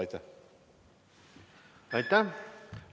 Aitäh!